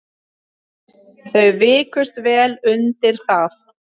Þau vikust vel undir það.